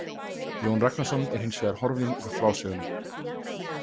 Jón Ragnarsson er hins vegar horfinn úr frásögunni.